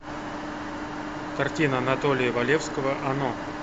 картина анатолия валевского оно